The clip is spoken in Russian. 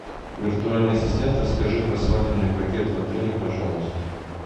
виртуальный ассистент расскажи про свадебный пакет в отеле пожалуйста